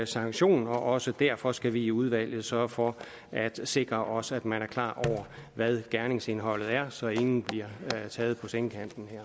sanktion og også derfor skal vi i udvalget sørge for at sikre os at man er klar over hvad gerningsindholdet er så ingen bliver taget på sengen